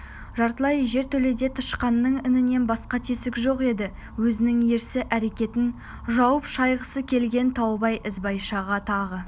жартылай жертөледе тышқанның інінен басқа тесік жоқ еді өзінің ерсі әрекетін жуып-шайғысы келген таубай ізбайшаға тағы